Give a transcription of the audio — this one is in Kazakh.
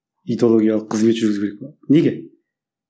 идеологиялық қызмет жүргізу керек болады неге